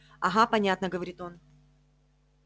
ага понятно говорит он